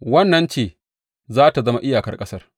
Wannan ce za tă zama iyakar ƙasa.